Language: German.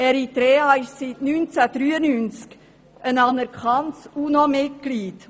Eritrea ist seit 1993 ein anerkanntes UNO-Mitglied.